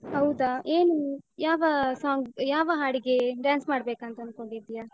ಹೌದಾ! ಏನು, ಯಾವ song , ಯಾವ ಹಾಡಿಗೆ dance ಮಾಡಬೇಕಂತ ಅಂದ್ಕೊಂಡಿದ್ದೀಯ?